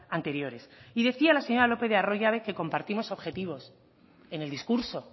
anteriores y decía la señora lópez de arroyabe que compartimos objetivos en el discurso